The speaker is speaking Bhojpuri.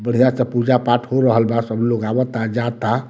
बढ़िया से पूजा-पाठ हो रहल बा सब लोग आवता जाता।